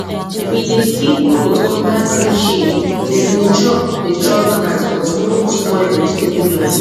we dey keep goat under tree shade dem dey chop dey chop grass but no spoil vegetable line